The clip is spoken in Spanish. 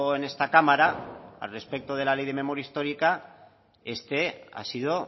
en esta cámara al respecto de la ley de memoria histórica este ha sido